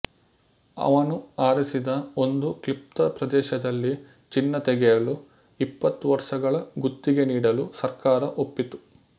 ಅವನು ಆರಿಸಿದ ಒಂದು ಕ್ಲಿಪ್ತ ಪ್ರದೇಶದಲ್ಲಿ ಚಿನ್ನ ತೆಗೆಯಲು ಇಪ್ಪತ್ತು ವರ್ಷಗಳ ಗುತ್ತಿಗೆ ನೀಡಲು ಸರ್ಕಾರ ಒಪ್ಪಿತು